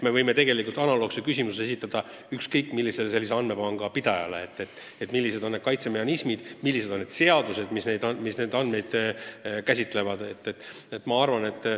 Me võime analoogse küsimuse esitada ükskõik millise sellise andmepanga pidajale ja uurida millised on teabekaitsemehhanismid, millised on seadused, mis neid andmeid käsitlevad.